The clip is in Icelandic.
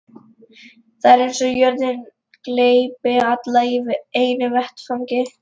Það er eins og jörðin gleypi alla í einu vetfangi.